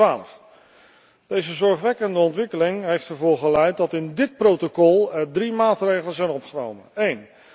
2012. Deze zorgwekkende ontwikkeling heeft ertoe geleid dat in dit protocol drie maatregelen zijn opgenomen. 1.